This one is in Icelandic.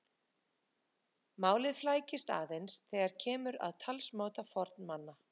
Málið flækist aðeins þegar kemur að talsmáta fornmanna.